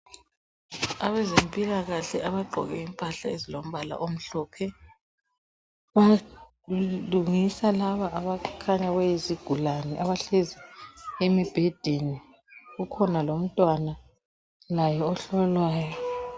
Abezempilakahle abagqoke impahla ezilombala omhlophe, balungisa laba abakhanya beyizigulane abahlezi embhedeni. Kukhona lomtwana laye ohlolwayo.